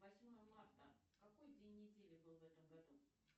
восьмое марта какой день недели был в этом году